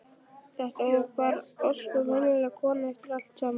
Þetta var þá bara ósköp venjuleg kona eftir allt saman.